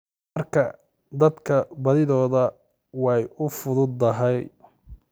marka dadka badidood way u fududahay.